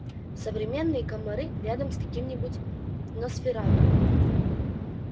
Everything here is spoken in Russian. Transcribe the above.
современные комары рядом с каким-нибудь носферату